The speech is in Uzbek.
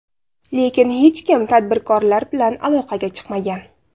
Lekin hech kim tadbirkorlar bilan aloqaga chiqmagan.